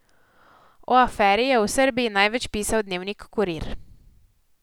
O aferi je v Srbiji največ pisal dnevnik Kurir.